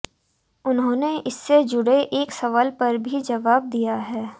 उन्होंने इससे जुड़े एक सवाल पर भी जवाब दिया है